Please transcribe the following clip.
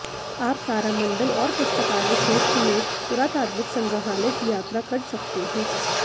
आप तारामंडल और पुस्तकालय क्षेत्र में पुरातात्विक संग्रहालय की यात्रा कर सकते हैं